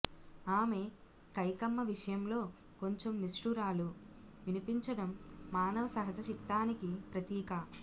ఆమె కైకమ్మ విషయంలో కొంచెం నిష్ఠూరాలు వినిపించడం మానవ సహజచిత్తానికి ప్రతీక